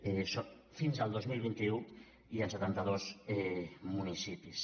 això fins al dos mil vint u i en setanta dos municipis